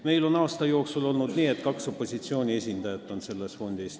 Meil on aasta jooksul olnud nii, et selles fondis on kaks opositsiooni esindajat.